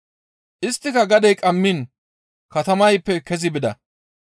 Isttika gadey qammiin katamayppe kezi bida.